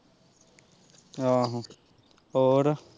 ਆਹੋ ਹੋਰ